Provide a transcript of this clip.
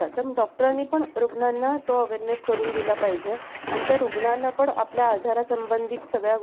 आणखी अं बऱ्याच प्रकारचे अं म्हणजे, शेत शेतकऱ्यांना पण या गोष्टीचं ज्ञान अं असतं. जसं की आता market मध्ये आपण बघतो की रासायनिक खते विकत भेटतात. तर